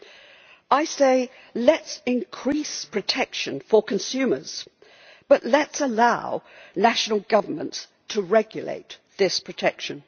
What I say is let us increase protection for consumers, but let us allow national government to regulate that protection.